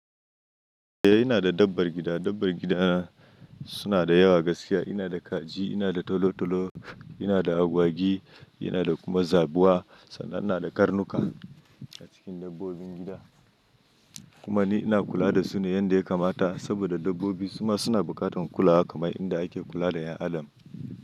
Eh ina da dabbar gida. Dabbar gidana suna da yawa gaskiya. Ina da kaji, ina da tolotolo, ina da agwagi, ina da kuma zabuwa sannan ina da karnuka a cikin dabbobin gida. Kuma ni ina kula da su ne yanda ya kamata saboda dabbobi suma suna buƙatar kulawa kamar inda ake kula da ƴan adam.